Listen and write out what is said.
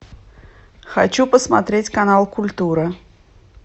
хочу посмотреть канал культура